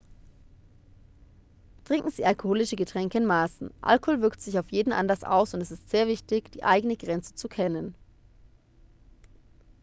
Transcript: trinken sie alkoholische getränke in maßen alkohol wirkt sich auf jeden anders aus und es ist sehr wichtig die eigene grenze zu kennen